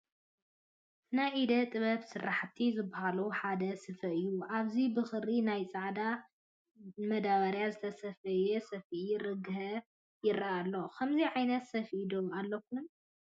ናይ ኢደ ጥበባት ስራሕቲ ካብ ዝባሃሉ ሓደ ስፈ እዩ፡፡ ኣብዚ ብክሪ ናይ ፃዕዳ ዳበርያ ዝተሰፈየ ሰፈኢ ርግሀ ይረአ ኣሎ፡፡ ከምዚ ዓይነት ሰፍኢ ዶ ኣለኩም?